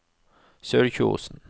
Sørkjosen